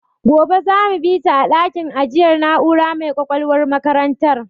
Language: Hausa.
Gobe za mu bita a dakin ajiyar na'ura mai ƙwaƙwalwar makarantar.